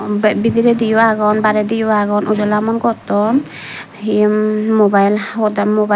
be bidiredi yo agon barediyo agon ojolamon gotton hi hmm hmm mubile hoda mubile.